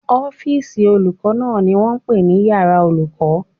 Ọ́fìsì olùkọ́ náà ni wọ́n pè ní iyàrá olùkọ́